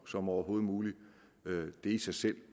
som overhovedet muligt det i sig selv